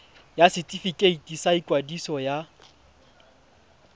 ya setefikeiti sa ikwadiso ya